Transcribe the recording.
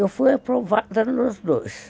Eu fui aprovada nos dois.